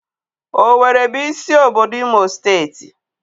Oweere bụ isi obodo Imo steeti.